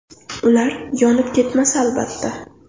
Ular yonib ketmasa, albatta.